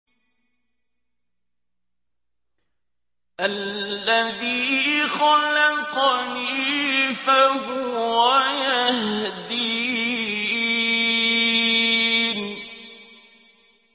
الَّذِي خَلَقَنِي فَهُوَ يَهْدِينِ